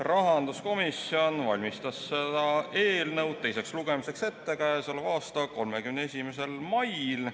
Rahanduskomisjon valmistas seda eelnõu teiseks lugemiseks ette k.a 31. mail.